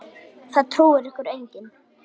Það trúir ykkur enginn!